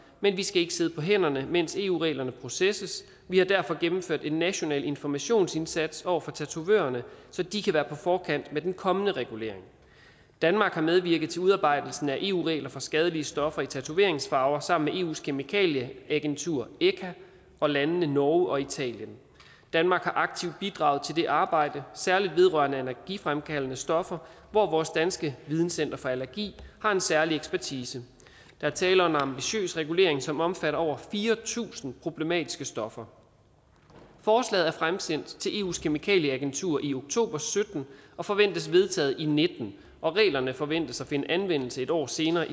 men vi skal ikke sidde på hænderne mens eu reglerne processes vi har derfor gennemført en national informationsindsats over for tatovørerne så de kan være på forkant med den kommende regulering danmark har medvirket til udarbejdelsen af eu regler for skadelige stoffer i tatoveringsfarver sammen med eus kemikalieagentur echa og landene norge og italien danmark har aktivt bidraget til det arbejde særlig vedrørende allergifremkaldende stoffer hvor vores danske videncenter for allergi har en særlig ekspertise der er tale om en ambitiøs regulering som omfatter over fire tusind problematiske stoffer forslaget er fremsendt til eus kemikalieagentur i oktober og sytten og forventes vedtaget i nitten og reglerne forventes at finde anvendelse et år senere